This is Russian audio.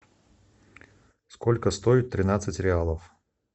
сколько стоит тринадцать реалов